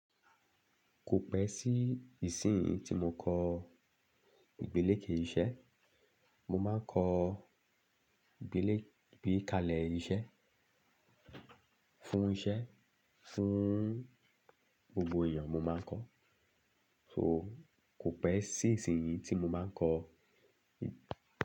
Kò pẹ́ sí ìsin yìí tí mo kọ ìgbéléke iṣẹ́, mo máa ń kọ ìgbélè-ìgbékalẹ̀ iṣẹ́, fún iṣẹ́, fún gbogbo èèyàn mo máa ń kọ. So kò pẹ́ sí ìsin yìí tí mo máa ń kọ.